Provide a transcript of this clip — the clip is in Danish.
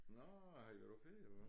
Nåh har I været ude at køre eller hvad